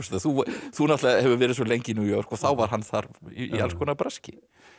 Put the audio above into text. þú þú hefur verið svo lengi í New York og þá var hann þar í alls konar braski